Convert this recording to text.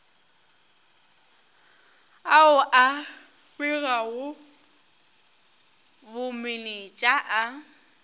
ao a begago bomenetša a